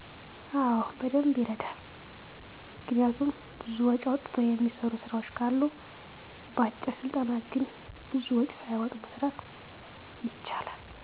አወ በደንብ ይረዳል። ምክንያቱም ብዙ ወጭ አውጥቶ የሚሰሩ ስራወች ካሉ በአጭር ስልጠና ግን ብዙም ወጭ ሳያወጡ መስራት ይቻላል።